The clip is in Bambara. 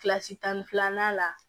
Kilasi tan ni filanan la